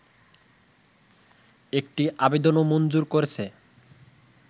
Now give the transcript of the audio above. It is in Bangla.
একটি আবেদনও মঞ্জুর করেছে